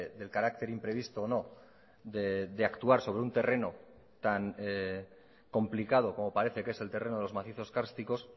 del carácter imprevisto o no de actuar sobre un terreno tan complicado como parece que es el terreno de los macizos cársticos